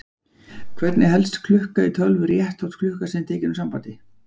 Hvernig helst klukka í tölvu rétt þótt tölvan sé tekin úr sambandi?